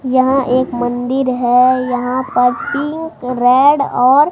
यहां एक मंदिर है यहां पर पिंक रेड और--